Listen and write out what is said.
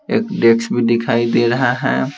एक डेक्स भी दिखाई दे रहा है।